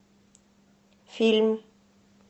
фильм